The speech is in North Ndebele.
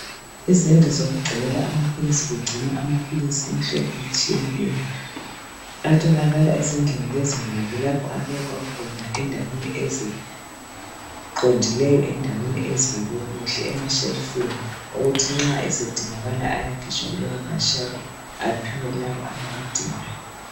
Izindlu zokugcinela amaphilisi. Kugcinwa amaphilisi imhlobo etshiyeneyo. Atholakala ezindlini lezi ngoba kulapho abekwa khona endaweni eziqondileyo, endaweni ezibekwe kuhle, emashelufini okuthi nxa esedingakala ayakhitshwa kulawo mashelufu aphiwe labo abawadingayo.